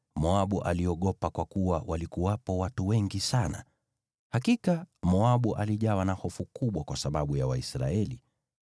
Moabu aliogopa, kwa kuwa walikuwepo watu wengi sana. Hakika, Moabu alijawa na hofu kubwa kwa sababu ya Waisraeli.